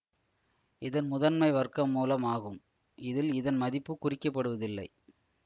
இதன் முதன்மை வர்க்கமூலம் ஆகும் இதில் இதன் மதிப்பு குறிக்கப்படுவதில்லை